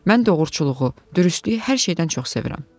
Mən doğruluğu, dürüstlüyü hər şeydən çox sevirəm.